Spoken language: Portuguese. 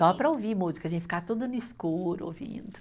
Só para ouvir música, a gente ficava tudo no escuro ouvindo.